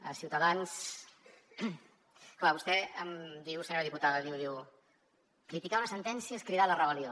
a ciutadans clar vostè em diu senyora diputada diu criticar una sentència és cridar a la rebel·lió